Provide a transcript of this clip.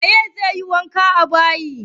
Wane ne zai wanke bayi?